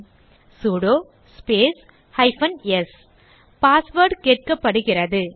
terminal ல் எழுதுக sudo space hyphen s password கேட்கப்படுகிறது